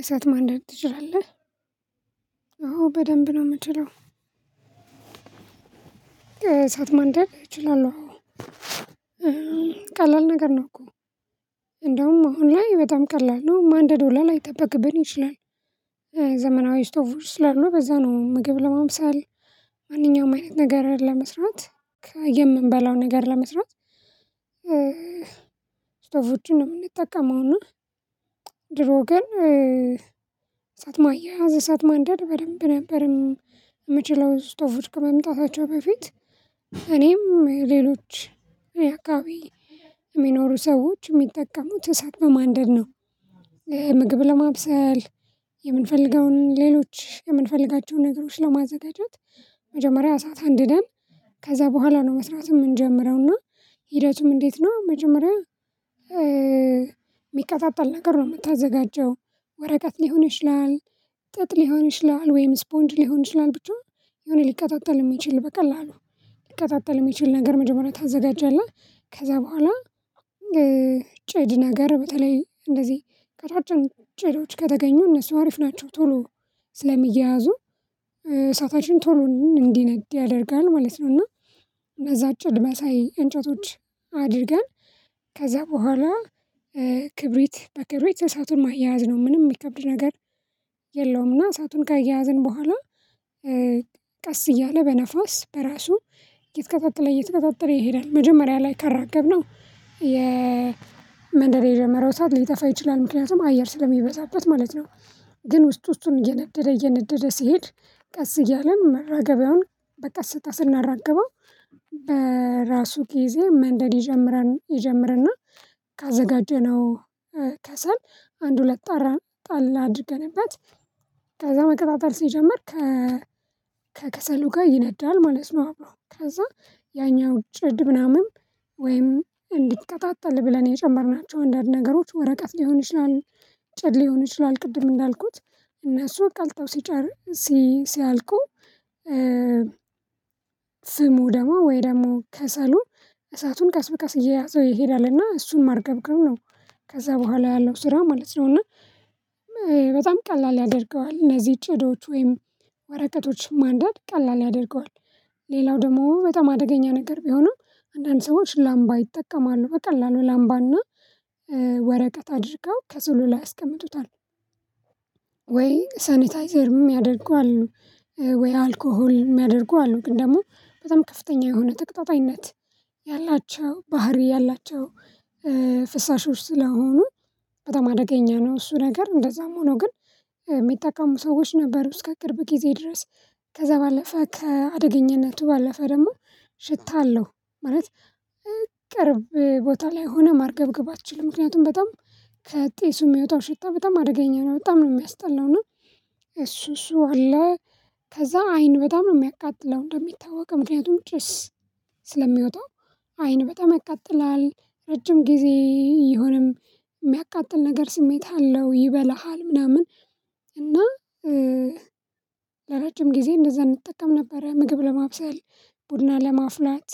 እሳት ማንደድ ትችላለህ? አዎ በደንብ ነው የምትለው? እሳት ማንደድ እችላለሁ ቀላል ነገር ነው እኮ። እንደውም አሁን ላይ በጣም ቀላል ነው ማንደድ ሁላ ላይጠበቅብን ይችላል። ዘመናዊ ስቶቦች ስላሉ በዛ ነው ምግብ ለማብሰል ማንኛውም አይነት ነገር ለመስራት የምንበላው ነገር ለመስራት ስቶቦቹን ነው የምንጠቀመው ና። ድሮ ግን እሳት ማያያዝ እሳት ማንደድ በደንብ ነበር። ምችለው ስቶቦች ከመምጣታቸው በፊት እኔም ሌሎች ያኣካባቢ የሚኖሩ ሰዎች የሚጠቀሙት እሳት በማንደድ ነው። ምግብ ለማብሰል የምንፈልገውን ሌሎች የምንፈልጋቸውን ነገሮች ለማዘጋጀት መጀመሪያ እሳት አንድደን ከዛ በኋላ ነው መስራት እምንጀምረውና እና ሂደቱም እንዴት ነው መጀመሪያ የሚቀጣጣል ነገር ነው የምታዘጋጀው ወረቀት ሊሆን ይችላል። ጥጥ ሊሆን ይችላል ወይም ስፖንጅ ሊሆን ይችላል ብቻ የሆነ ሊቀጣጠል የሚችል በቀላሉ ሊቀጣጠል የሚችል ነገር መጀመሪያ ታዘጋጃለህ። ከዛ በኋላ ጭድ ነገር በተለይ እንደዚህ ቀጫጭኖች ጭዶች ከተገኙ እነሱ አሪፍ ናቸው ቶሎ ስለሚያያዙ እሳታችን ቶሎ እንዲነድ ያደርጋል ማለት ነው። እና በዛ ጭድ መሳይ እንጨቶች አድርገን ከዛ በኋላ ክብሪት በክብሪት እሳቱን ማያያዝ ነው ምንም የሚከብድ ነገር የለውም። እና እሳቱን ካያያዝን በኋላ ቀስ እያለ በነፋስ በራሱ እየተቀጣጠለ እየተቀጣጠለ ይሄዳል መጀመሪያ ላይ ካራገብነው የመንደድ የጀመረው እሳት ሊጠፋ ይችላል ምክንያቱም አየር ስለሚበዛበት ማለት ነው። ግን ውስጥ ውስጡን እየነደደ እየነደደ ሲሄድ ቀስ እያልን ማረገቢያውን በቀስታ ስናራግበው በራሱ ኪዜ መንደድ ይጀምርና ካዘጋጀነው ከሰል አንድ ሁለት ጣረን ጣል አድርገንበት ከዛ መቀጣጠል ሲጀመር ከ ከክሰሉ ጋር ይነዳል ማለት ነው። አብሮ ከዛ ያኛው ጭድ ምናምን ወይም እንዲቀጣጠል ብለን የጨመርናቸው አንዳንድ ነገሮች ወረቀት ሊሆን ይችላል ጭድ ሊሆን ይችላል ቅድም እንዳልኩት እነሱ ቀልጠው ሲጨር ሲ ሲያልቁ ፍሙ ደግሞ ወይ ደግሞ ከሰሉ እሳቱን ቀስ በቀስ እየያዘው ይሄዳልና እሱን ማርገብገብ ነው። ከዛ በኋላ ያለው ስራ ማለት ነውና በጣም ቀላል ያደርገዋል እነዚህ ጭድዎች ወይም ወረቀቶች ማንደድ ቀላል ያደርገዋል። ሌላው ደግሞ በጣም አደገኛ ነገር ቢሆንም አንዳንድ ሰዎች ላምባ ይጠቀማሉ በቀላሉ ላምባና ወረቀት አድርገው ከስሉ ላይ ያስቀምጡታል ወይ ሳኒታይዘርም ሚያደርጉ አሉ ወይ አልኮሆል ሚያደርጉ አሉ ግን ደግሞ በጣም ከፍተኛ የሆነ ተቀጣጣይነት ያላቸው ባህሪ ያላቸው ፍሳሾች ስለሆኑ በጣም አደገኛ ነው። እሱ ነገር እንደዛም ሆኖ ግን ሚጠቀሙ ሰዎች ነበሩ አስከ ቅርብ ጊዜ ድረስ ከዛ ባለፈ ከአደገኛነቱ ባለፈ ደግሞ ሽታ አለው። ማለት ቅርብ ቦታ ላይ ሆነህ ማርገብገብ አትችልም ምክንያቱም በጣም ከጢሱ ሚወጣው ሽታ በጣም አደገኛ ነው በጣም ነው የሚያስጠላው። እና እሱ እሱ አለ ከዛ አይን በጣም ነው የሚያቃጥለው እንደሚታወቀው ምክንያቱም ጭስ ስለሚወጣው አይን በጣም ያቃጥላል ረጅም ጊዜ ይሆንም የሚያቃጥል ነገር ስሜት አለው። ይበላሃል ምናምን እና ለረጅም ጊዜ እንደዛ እንጠቀም ነበረ ምግብ ለማብሰል ቡና ለማፍላት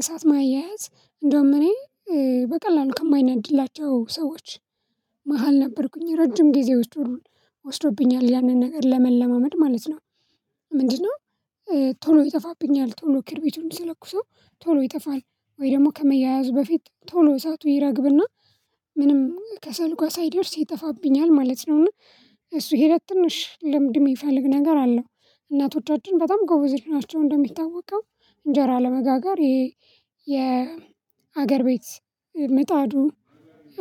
እሳት ማያያዝ እንዳውም እኔ በቀላሉ ከማይናድድላቸው ሰዎች መሃል ነበርኩኝ ረጅም ጊዜ ወስዶል ወስዶብኛል ያንን ነገር ለመለማመድ ማለት ነው። ምንድነው? ቶሎ ይጠፋብኛል ቶሎ ክርቢቱን ስለኩሰው ቶሎ ይጠፋል ወይ ደግሞ ከመያያዙ በፊት ቶሎ እሳቱ ይረግብና ምንም ከሰሉ ጋ ሳይደርስ ይጠፋብኛል ማለት ነው። እና እሱ ሄደት ትንሽ ልምድ ሚፈልግ ነገር አለው። እናቶቻችን በጣም ጎበዝር ናቸው እንደሚታወቀው እንጀራ ለመጋገር ይሄ የሀገር ቤት ምጣዱን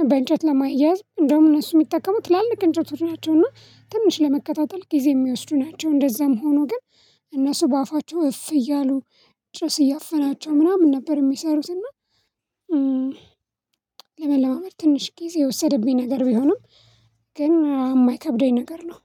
በእንጨት ለማያዝ እንደውም እነሱ የሚጠቀሙ ትላልቅ እንጨቶች ናቸውና ትንሽ ለመቀጣጠል ጊዜ የሚወስዱ ናቸው እንደዛም ሆኖ ግን እነሱ በአፋቸው እፍ እያሉ ጭስ እያፈናቸው ምናምን ነበር የሚሰሩትና። ለመለማመድ ትንሽ ጊዜ የወሰደብኝ ነገር ቢሆንም ግን የማይከብደኝ ነገር ነው